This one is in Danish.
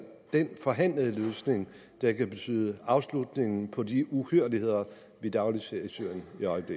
den forhandlede løsning der kan betyde afslutningen på de uhyrligheder vi dagligt ser i syrien